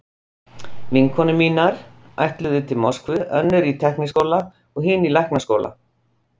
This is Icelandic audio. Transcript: Vinkonur mínar ætluðu til Moskvu, önnur í tækniháskóla, hin í læknaskóla.